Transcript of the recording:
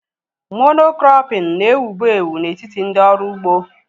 Mono-krọpin na-ewubu ewu na-etiti ndị ọrụ ugbo